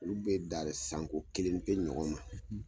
Olu be dari sanko kelen pe ɲɔgɔn ma